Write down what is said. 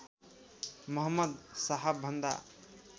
मुहम्मद साहब भन्दा